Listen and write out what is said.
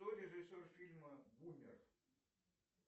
кто режиссер фильма бумер